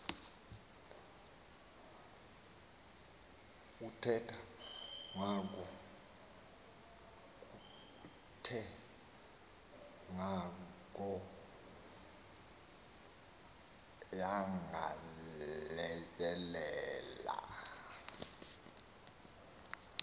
kuthe kwangoko yagaleleka